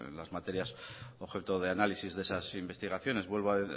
las materias objeto de análisis de esas investigaciones vuelvo a